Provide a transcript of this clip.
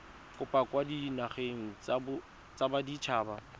kopo kwa dinageng tsa baditshaba